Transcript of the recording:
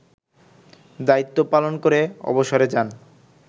দায়িত্বপালন করে অবসরে যান